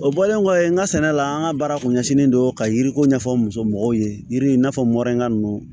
O bɔlen kɔfɛ n ka sɛnɛ la an ka baara kun ɲɛsinnen don ka yiri ko ɲɛfɔ n musomɔgɔw ye yiri in n'a fɔ mɔrɛnga nunnu